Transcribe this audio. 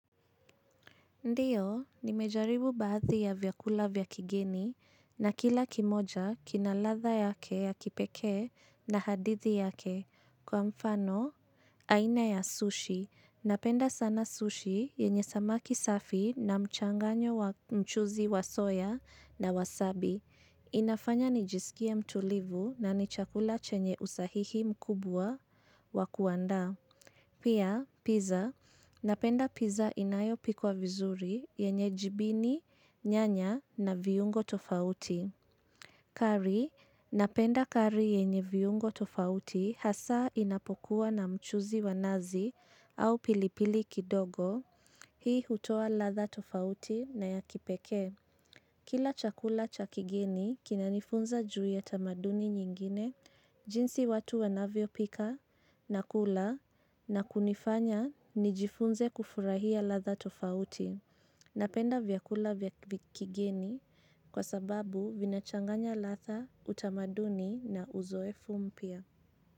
Ndiyo, nimejaribu baadhi ya vyakula vya kigeni na kila kimoja kinaladha yake ya kipekee na hadithi yake. Kwa mfano, aina ya sushi. Napenda sana sushi yenye samaki safi na mchanganyo wamchuzi wa soya na wasabi. Inafanya nijisikia mtulivu na nichakula chenye usahihi mkubwa wa kuanda. Pia, pizza, napenda pizza inayo pikwa vizuri yenye jibini, nyanya na viungo tofauti. Kari, napenda kari yenye viungo tofauti hasa inapokuwa na mchuzi wanazi au pilipili kidogo, hii hutowa ladha tofauti na ya kipekee. Kila chakula cha kigeni kinanifunza juu ya tamaduni nyingine, jinsi watu wanavyo pika na kula na kunifanya nijifunze kufurahia ladha tofauti napenda vyakula vya kigeni kwa sababu vinachanganya ladha utamaduni na uzoefu mpya.